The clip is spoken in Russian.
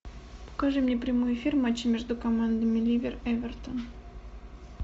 покажи мне прямой эфир матча между командами ливер эвертон